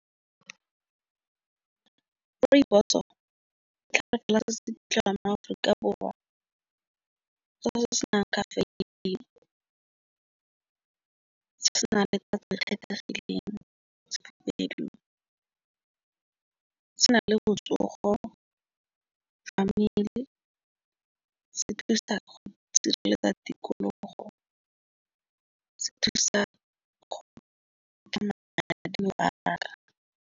Rooibos o ka ditlhare fela se se iphitlhelang mo-Aforika Borwa se se nang le tatso e e kgethegileng sehibedu se nang le botsogo fa mmele se dirisa go sireletsa tikologo se thusa go ka manya ya .